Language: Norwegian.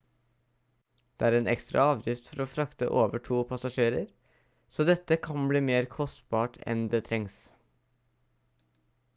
det er en ekstra avgift for å frakte over to passasjerer så dette kan bli mer kostbart enn det trengs